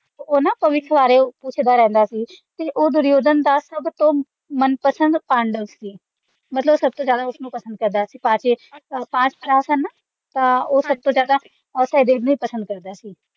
ਉਹ ਨਾ ਭਵਿਖ ਬਾਰੇ ਪੁੱਛਦਾ ਰਹਿੰਦਾ ਸੀ ਤੇ ਉਹ ਦੁਰਯੋਧਨ ਦਾ ਸਭ ਤੋਂ ਮਨਪਸੰਦ ਪਾਂਡਵ ਸੀ ਮਤਲਬ ਉਹ ਸਭ ਤੋਂ ਜਿਆਦਾ ਉਸਨੂੰ ਪਸੰਦ ਕਰਦਾ ਸੀ ਪਾਂਚ ਭਰਾ ਸਨ ਨਾ ਮਤਲਬ ਉਹ ਸਭ ਤੋਂ ਜਾਂਦਾ ਸਹਿਦੇਵ ਨੂੰ ਹੀ ਪਸੰਦ ਕਰਦਾ ਸੀ